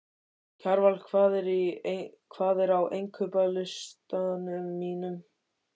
Kjarval, hvað er á innkaupalistanum mínum?